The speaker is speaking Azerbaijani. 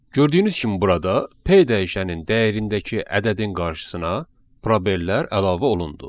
Gördüyünüz kimi burada P dəyişənin dəyərindəki ədədin qarşısına probellər əlavə olundu.